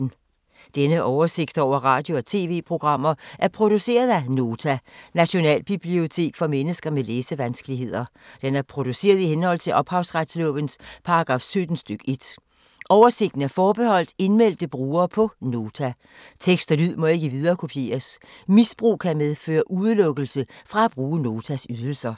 Denne oversigt over radio og TV-programmer er produceret af Nota, Nationalbibliotek for mennesker med læsevanskeligheder. Den er produceret i henhold til ophavsretslovens paragraf 17 stk. 1. Oversigten er forbeholdt indmeldte brugere på Nota. Tekst og lyd må ikke viderekopieres. Misbrug kan medføre udelukkelse fra at bruge Notas ydelser.